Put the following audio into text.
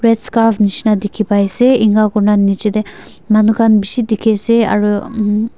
red scarf nisna dekhi pai ase eninika kori na niche te manu khan bisi dekhi ase aru--